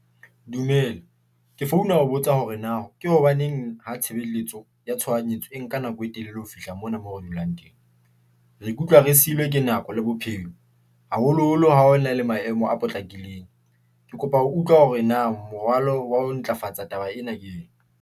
Dumela ke founa ho botsa hore na ke hobaneng ha tshebeletso ya tshohanyetso e nka nako e telele. Ho fihla mona mo re dulang teng? Re ikutlwa re silwe ke nako le bophelo, haholoholo ha ho na le maemo a potlakileng, ke kopa ho utlwa hore na morwalo wa ho ntlafatsa taba ena keng?